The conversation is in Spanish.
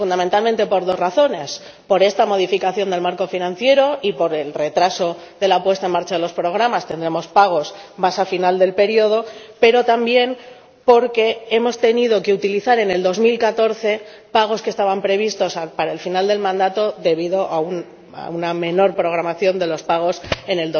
Fundamentalmente, por dos razones por esta modificación del marco financiero —y por el retraso de la puesta en marcha de los programas, tendremos pagos más al final del período— pero también porque hemos tenido que utilizar en 2014 pagos que estaban previstos para el final del mandato, debido a una menor programación de los pagos en